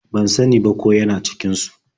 Ban sa ni ba ko ya na cikin su.